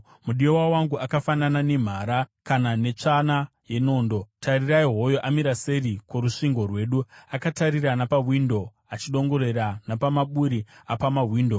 Mudiwa wangu akafanana nemhara kana netsvana yenondo. Tarirai! Hoyo amira seri kworusvingo rwedu, akatarira napamawindo achidongorera napamaburi apamawindo.